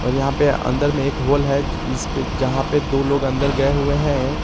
यहां पे अंदर में एक होल है जिसपे जहां पे दो लोग अंदर गए हुए हैं।